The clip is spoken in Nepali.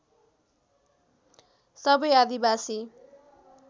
सबै आदिवासी